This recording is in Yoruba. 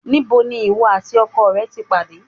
Níbo ni ìwọ àti ọkọ rẹ ti pàdé?